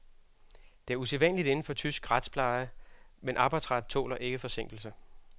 Det er usædvanligt inden for tysk retspleje, men arbejdsret tåler ikke forsinkelse.